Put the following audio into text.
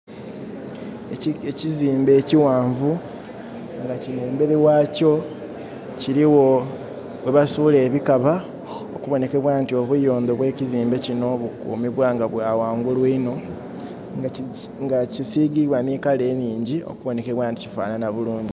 Ekizimbe ekighanvu nga kinho emberi ghakyo kirigho ghebasuula ebikaba okubonhekebwa nti obuyondho bwekizimbe kinho bukumibwa nga bwaghangulu inho nga kisiigiibwa nhi kala enhingi okubonhekebwa nti kifanhanha bulungi.